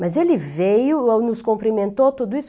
Mas ele veio, nos cumprimentou, tudo isso.